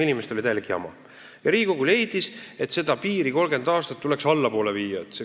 Inimestel tekkisid täielikud jamad ja Riigikogu leidis, et seda 30 aastat tuleks vähendada.